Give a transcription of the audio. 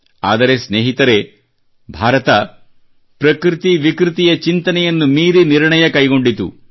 ಆದರೆ ಸ್ನೇಹಿತರೇ ಭಾರತವು ಪ್ರಕೃತಿ ವಿಕೃತಿಯ ಚಿಂತನೆಯನ್ನು ಮೀರಿ ನಿರ್ಣಯ ಕೈಗೊಂಡಿತು